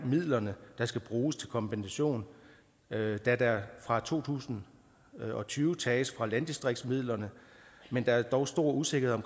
midler der skal bruges til kompensation da der fra to tusind og tyve tages fra landdistriktsmidlerne men der er dog stor usikkerhed